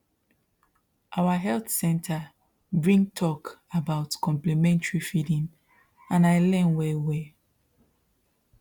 our health center bring talk about complementary feeding and i learn well well